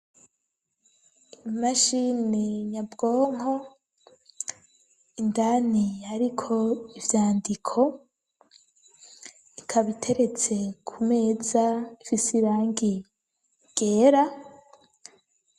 Imashini nyabwonko indani hariko ivyandiko ikaba iteretse ku meza ifise irangi ryera.